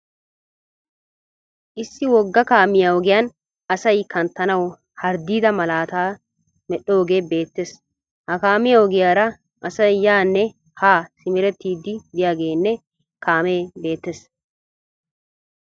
Issi wogga kaamiya ogiyan asay kanttanawu harddiidaa malaataa medhoogee beettees. Ha kaamiya ogiyara asay yaanne haa simerettiiddi diyageenne kaamee beettees.